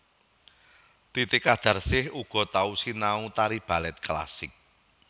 Titi Qadarsih uga tau sinau tari balèt klasik